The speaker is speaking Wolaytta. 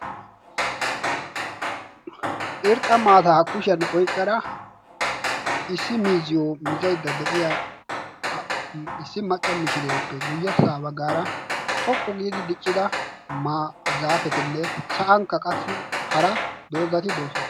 irxxa maataa kushiyan oyqqara issi miizziyo mizaydda de7iya issi macca mishireeppe guyyessaa baggaara xoqqu giidi diccida zaafetinne sa7ankka qassi hara doozzati doosona.